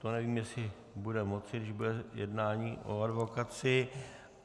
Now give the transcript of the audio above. To nevím, jestli bude moci, když bude jednání o advokacii.